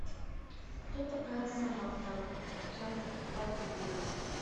кто такая саманта часть двадцать девять